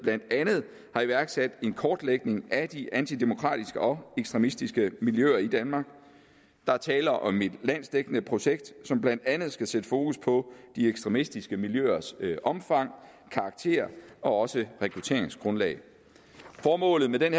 og iværksat en kortlægning af de antidemokratiske og ekstremistiske miljøer i danmark der er tale om et landsdækkende projekt som blandt andet skal sætte fokus på de ekstremistiske miljøers omfang karakter og også rekrutteringsgrundlag formålet med den